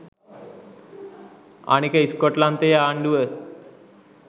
අනික ස්කොට්ලන්තයේ ආණ්ඩුව